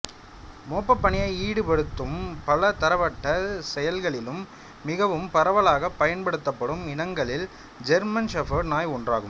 மோப்பப் பணியை ஈடுபடுத்தும் பலதரப்பட்ட செயல்களிலும் மிகவும் பரவலாகப் பயன்படுத்தப்படும் இனங்களில் ஜெர்மன் ஷெஃபர்ட் நாய் ஒன்றாகும்